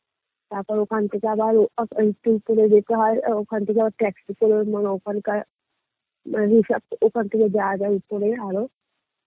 তারপর ওখান থেকে আবার উপরে যেতে হয় ওখান থেকে আবার taxi করে মানে ওখানকার ওখানে থেকে যাওয়া যায় উপরে আরো